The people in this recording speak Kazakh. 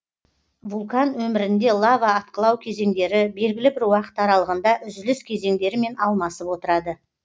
вулкан өмірінде лава атқылау кезеңдері белгілі бір уақыт аралығында үзіліс кезеңдерімен алмасып отырады